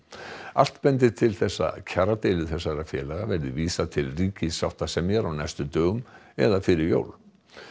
allt bendir til þess að kjaradeilu þessara félaga verði vísað til ríkissáttasemjara á næstu dögum eða fyrir jól